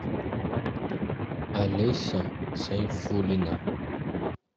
олеся сайфуллина